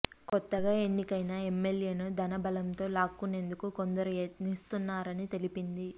కొత్తగా ఎన్నికైన ఎమ్మెల్యేలను ధన బలంతో లాక్కునేందుకు కొందరు యత్నిస్తున్నారని తెలిపింది